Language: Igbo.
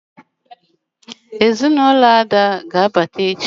ezinulo Ada ga-abata echi